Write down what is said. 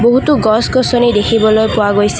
বহুতো গছ-গছনি দেখিবলৈ পোৱা গৈছে।